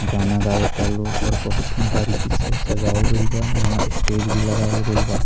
गाना गावा तालो और बहुत ही बारिकी से सजावल गइल बा यहाँ स्टेज भी लगावल गइल बा।